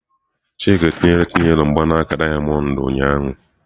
Chika etinyere Chinelo mgbanaka dayamondu ụnyahụ?